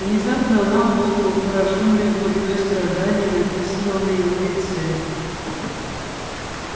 внезапно она умолкла поражённая глубиной страдания написанного на его лице